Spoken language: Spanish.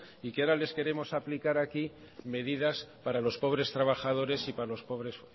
y que ahora les queremos aplicar aquí medidas para los pobres trabajadores y para los pobres